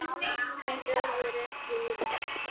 Þessi orð eru ekki úrelt.